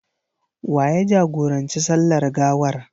Wa ya jagoranci sallar gawar?